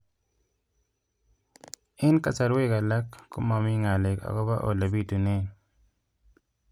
Eng' kasarwek alak ko mami ng'alek akopo ole pitunee